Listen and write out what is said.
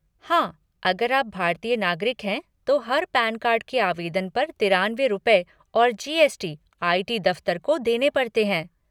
हाँ, अगर आप भारतीय नागरिक हैं तो हर पैन कार्ड के आवेदन पर तिरानवे रुपए और G S T I T दफ़्तर को देने पड़ते हैं।